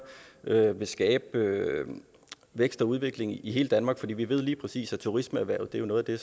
vil skabe vækst og udvikling i hele danmark for vi ved lige præcis at turismeerhvervet er noget af